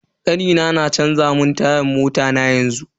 Kanina na canza mun tayan mota na yanzu.